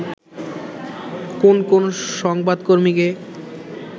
কোন কোন সংবাদকর্মীকে